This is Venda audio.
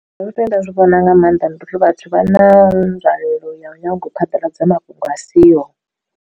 Nda zwi vhona nga maanḓa ndi uri vhathu vha na nzwalelo ya u nyaga u phaḓaladza mafhungo a siho.